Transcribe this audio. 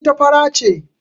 Ita fara ce.